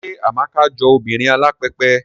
Ṣé Amaka jọ obìnrin alápẹpẹ?